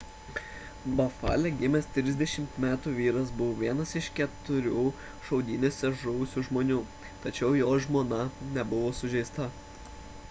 bafale gimęs 30 metų vyras buvo vienas iš keturių šaudynėse žuvusių žmonių tačiau jo žmona nebuvo sužeista